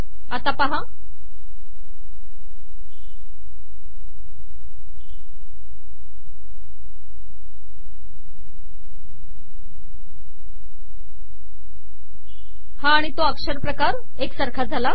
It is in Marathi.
आता पहा हा आिण तो अकरपकार एकसारखा झाला